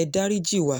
ẹ dáríji wa